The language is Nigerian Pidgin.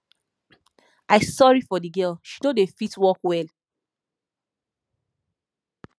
i sorry for the girl she no dey fit walk well